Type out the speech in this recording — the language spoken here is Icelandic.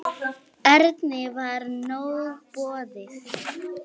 Erni var nóg boðið.